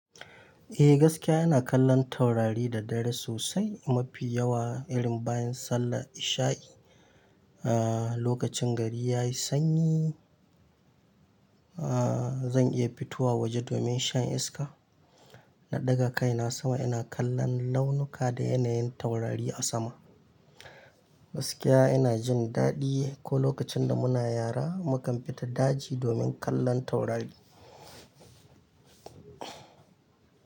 Eh gaskiya ina kallon taurari da dare sosai mafi yawa irin bayan sallar isha'i. Aaa lokacin gari yayi sanyi, aaa zan iya fitowa waje domin shan iska. Na ɗaga kai na sama ina kallon launuka da yanayin taurari a sama. Gaskiya ina jin daɗi ko lokacin da muna yara mu kam fita daji domin kallon taurari.